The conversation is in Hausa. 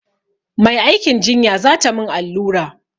Mai aikin jinya za ta min allura.